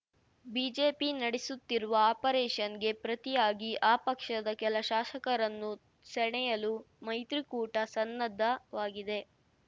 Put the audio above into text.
BJP ನಡೆಸುತ್ತಿರುವ ಆಪರೇಷನ್‌ಗೆ ಪ್ರತಿಯಾಗಿ ಆ ಪಕ್ಷದ ಕೆಲ ಶಾಸಕರನ್ನು ಸೆಳೆಯಲು ಮೈತ್ರಿಕೂಟ ಸನ್ನದ್ಧವಾಗಿದೆ